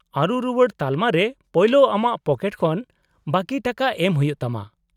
-ᱟᱹᱨᱩ ᱨᱩᱣᱟᱹᱲ ᱛᱟᱞᱢᱟ ᱨᱮ ᱯᱳᱭᱞᱳ ᱟᱢᱟᱜ ᱯᱚᱠᱮᱴ ᱠᱷᱚᱱ ᱵᱟᱹᱠᱤ ᱴᱟᱠᱟ ᱮᱢ ᱦᱩᱭᱩᱜ ᱛᱟᱢᱟ ᱾